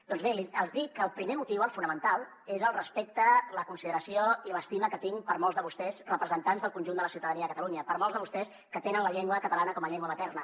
doncs bé els dic que el primer motiu el fonamental és el respecte la consideració i l’estima que tinc per molts de vostès representants del conjunt de la ciutadania de catalunya per molts de vostès que tenen la llengua catalana com a llengua materna